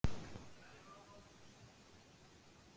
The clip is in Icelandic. En Jón skrifaði einnig: guð veit, hvað ég á nú eftir ólifað.